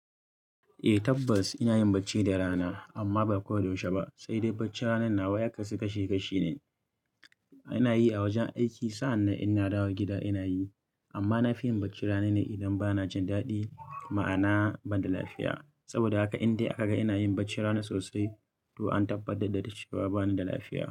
Eh tabbas ina yin bacci da rana amma ba koyaushe ba, sai dai bacci ranan nawa ya kasu kashe kashe ne. Ina yi a wajen aiki sannan idan na dawo gida ina yi amma na fi yin bacci rana ne idan bana jin daɗi ma'ana ban da lafiya saboda haka indai aka ga ina yin bacci rana sosai to an tabbatar da cewa bani da lafiya.